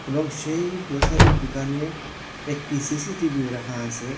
এবং সেই গ্ৰসারির দুকানে একটি সিসিটিভিও রাখা আসে।